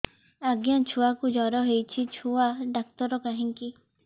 ଆଜ୍ଞା ଛୁଆକୁ ଜର ହେଇଚି ଛୁଆ ଡାକ୍ତର କାହିଁ କି